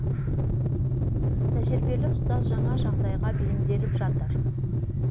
тәжірибелі ұстаз жаңа жағдайға бейімделіп жатыр